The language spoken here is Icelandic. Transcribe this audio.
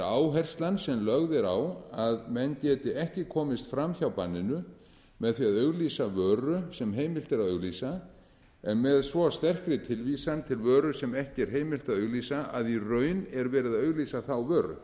áherslan sem lögð er á að menn geti ekki komist fram hjá banninu með því að auglýsa vöru sem heimilt er að auglýsa en með svo sterkri tilvísan til vöru sem ekki er heimilt að auglýsa að í raun er verið að auglýsa þá